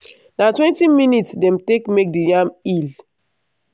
na twenty minutes dem take make di yam hill.